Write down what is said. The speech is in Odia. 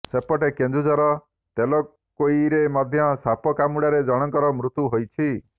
ସେପଟେ କେନ୍ଦୁଝର ତେଲକୋଇରେ ମଧ୍ୟ ସାପ କାମୁଡାରେ ଜଣକର ମୃତ୍ୟୁ ହୋଇଛି